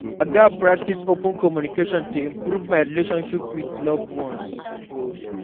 I gats practice open communication to improve my relationships with loved ones.